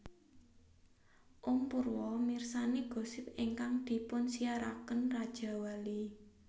Om Purwo mirsani gosip ingkang dipunsiaraken Rajawali